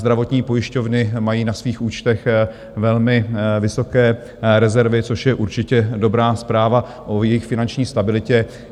Zdravotní pojišťovny mají na svých účtech velmi vysoké rezervy, což je určitě dobrá zpráva o jejich finanční stabilitě.